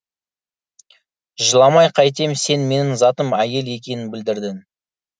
жыламай қайтем сен менің затым әйел екенін білдірдің